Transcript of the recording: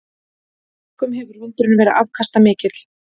Einkum hefur vindurinn verið afkastamikill.